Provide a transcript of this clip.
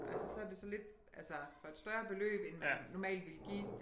Altså så det sådan lidt altså for et større beløb end man normalt ville give